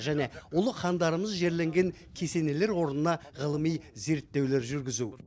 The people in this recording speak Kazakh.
және ұлы хандарымыз жерленген кесенелер орнына ғылыми зерттеулер жүргізу